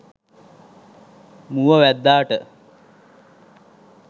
මුව වැද්දාට